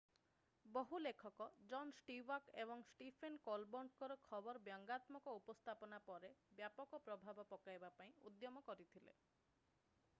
ବହୁ ଲେଖକ John Stewart ଏବଂ ଷ୍ଟିଫେନ୍ କୋଲବର୍ଟଙ୍କ ଖବରର ବ୍ୟଙ୍ଗାତ୍ମକ ଉପସ୍ଥାପନା ଉପରେ ବ୍ୟାପକ ପ୍ରଭାବ ପକାଇବା ପାଇଁ ଉଦ୍ୟମ କରିଥିଲେ